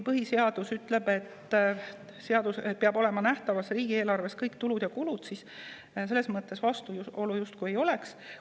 Põhiseadus ütleb, et riigieelarves peavad olema näha kõik tulud ja kulud, selles mõttes vastuolu justkui ei oleks.